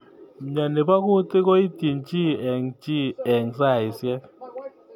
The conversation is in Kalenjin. Mnyeni bo kutik koityin chi eng chi eng saishek.